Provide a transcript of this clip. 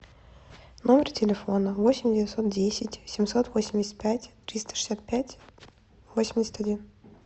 номер телефона восемь девятьсот десять семьсот восемьдесят пять триста шестьдесят пять восемьдесят один